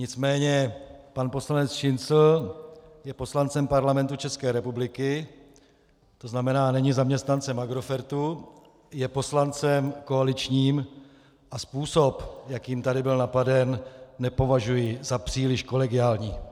Nicméně pan poslanec Šincl je poslancem Parlamentu České republiky, to znamená, není zaměstnancem Agrofertu, je poslancem koaličním a způsob, jakým tady byl napaden, nepovažuji za příliš kolegiální.